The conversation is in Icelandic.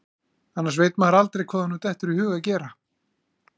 Annars veit maður aldrei hvað honum dettur í hug að gera.